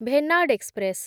Venad express